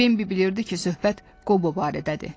Bembi bilirdi ki, söhbət Qobo barədədir.